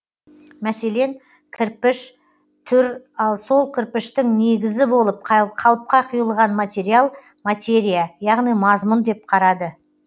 мәселен кірпіш түр ал сол кірпіштің негізі болып қалыпқа құйылған материал материя яғни мазмұн деп қарады